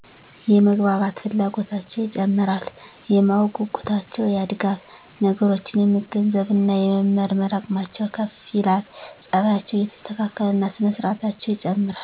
- የመግባባት ፍላጎታቸው ይጨምራል። - የማወቅ ጉጉታቸው ያድጋል። - ነገሮችን የመገንዘብ እና የመመርመር አቅማቸው ከፍ ይላል። - ፀባያቸው እየተስተካከለ እና ስነ ስርአታቸው ይጨምራል።